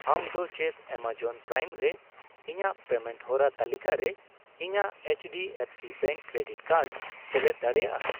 ᱟᱢ ᱫᱚ ᱪᱮᱫ ᱮᱢᱟᱡᱚᱱ ᱯᱨᱟᱭᱤᱢ ᱨᱮ ᱤᱧᱟ.ᱜ ᱯᱮᱢᱮᱱᱴ ᱦᱚᱨᱟ ᱛᱟᱹᱞᱤᱠᱟ ᱨᱮ ᱤᱧᱟᱹᱜ ᱮᱭᱤᱪᱰᱤᱮᱯᱷᱥᱤ ᱵᱮᱝᱠ ᱠᱨᱮᱰᱤᱴ ᱠᱟᱨᱰ ᱥᱮᱞᱮᱫ ᱫᱟᱲᱮᱭᱟᱜᱼᱟ ?